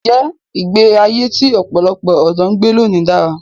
Ǹjẹ́ ìgbé ayé tí ọ̀pọ̀lọpọ̀ ọ̀dọ́ ń gbé lónìí dára?